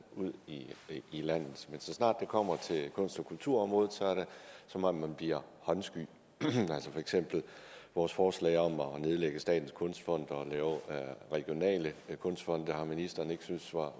ud i landet men så snart det kommer til kunst og kulturområdet så er det som om man bliver håndsky for eksempel vores forslag om at nedlægge statens kunstfond og lave regionale kunstfonde har ministeren ikke syntes var